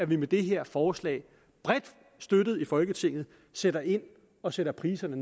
vi med det her forslag bredt støttet i folketinget sætter ind og sætter priserne